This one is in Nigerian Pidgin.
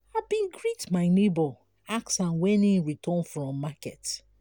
i bin greet my nebo ask am wen im return from market.